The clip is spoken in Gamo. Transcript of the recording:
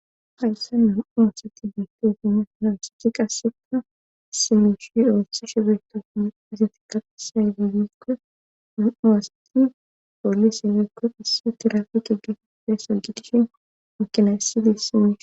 Hayssa nam7oosati biittotine nawsichi qasseka simishi doossi she beeto muizati qaxesay fiyekko nam7a wasati poliseleekko qase tirafi qeggefi peeso gidishin mukinaysidis simishi.